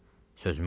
Qulaq as.